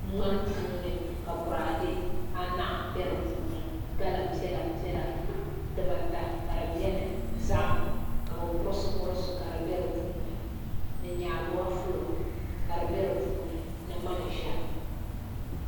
ŋmani puuni ka boraadɛ anahi bɛ di puuni gali piɛla piɛla dibata ka di bɛni zaham ka bi burisi burisi ka di bɛdi puuni ni nyaaduwa fulo ka di bɛ di puuni ni manʒa